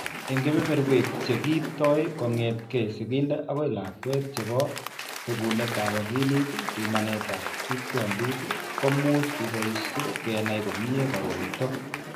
Eng' kebeberwek che kiipto kong'etke sigindet akoi lakwet chebo bekunetab akilit, pimanetab tupchondit ko much keboishe kenai komnyie koroito.